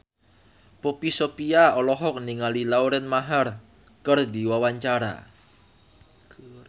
Poppy Sovia olohok ningali Lauren Maher keur diwawancara